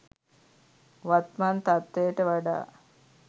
වත්මන් තත්ත්වයට වඩා